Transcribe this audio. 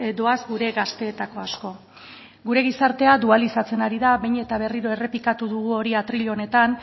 doaz gure gazteetako asko gure gizartea dualizatzen ari da behin eta berriro errepikatu dugu hori atrile honetan